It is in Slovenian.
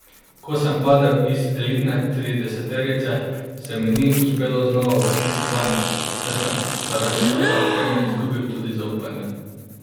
Ko sem padel iz elitne trideseterice, se mi ni uspelo znova uvrstiti vanjo, saj sem zaradi slabe opreme izgubil tudi zaupanje.